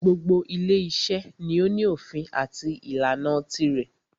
Gbogbo ile iṣẹ́ ni o ní òfin àti ìlànà tirẹ̀.